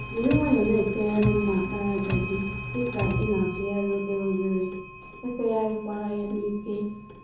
Jírí nwayọọ na-efegharị mma àkpàràjà gị, dịka ịnatụgharị obere obere, efegharị kwala ya n'ike.